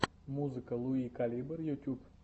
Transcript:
музыка луи калибр ютюб